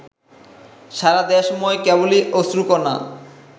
সারাদেশময় কেবলি অশ্রুকণা